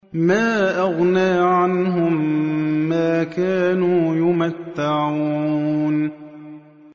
مَا أَغْنَىٰ عَنْهُم مَّا كَانُوا يُمَتَّعُونَ